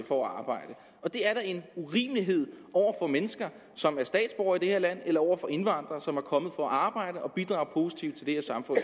for at arbejde det er da en urimelighed over for mennesker som er statsborgere i det her land og over for indvandrere som er kommet for at arbejde og bidrager positivt til det her samfund